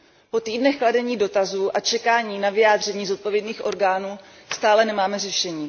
Po týdnech kladení dotazů a čekání na vyjádření zodpovědných orgánů stále nemáme řešení.